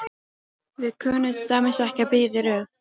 Við kunnum til dæmis ekki að bíða í röð.